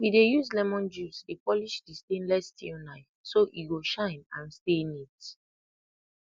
we dey use lemon juice dey polish di stainless steel knife so e go shine and stay neat